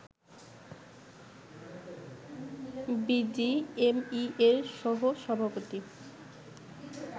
বিজিএমইএর সহ সভাপতি